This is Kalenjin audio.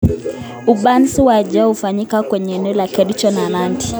Upanzi wa chai ufanyawa kwenye eneo la Kericho na Nandi